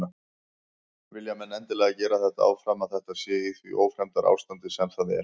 Vilja menn endilega gera þetta áfram að þetta sé í því ófremdarástandi sem það er?